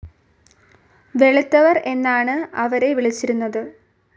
വെളുത്തവർ എന്നാണ് അവരെ വിളിച്ചിരുന്നത്.